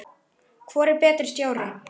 Hvor er betri stjóri?